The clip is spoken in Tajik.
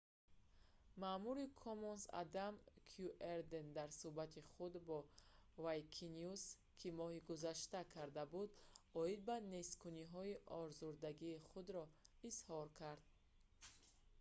маъмури commons адам кюерден дар сӯҳбати худ бо wikinews ки моҳи гузашта карда буд оид ба несткуниҳо озурдагии худро изҳор кард